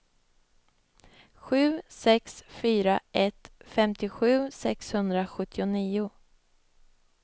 sju sex fyra ett femtiosju sexhundrasjuttionio